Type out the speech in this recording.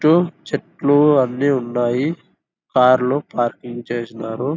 ఇటు చెట్లు అన్ని ఉన్నాయి. కార్ లు పార్కింగ్ చేసినారు.